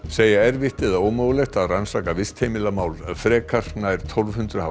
segja erfitt eða ómögulegt að rannsaka frekar nær tólf hundruð